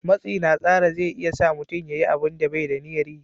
Matsi na tsara zai iya sa mutum ya yi abunda bai da niyar yi